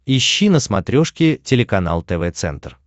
ищи на смотрешке телеканал тв центр